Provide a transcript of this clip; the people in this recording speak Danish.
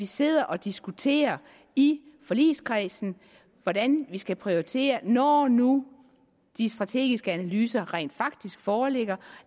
sidder og diskuterer i forligskredsen hvordan man skal prioritere når nu de strategiske analyser rent faktisk foreligger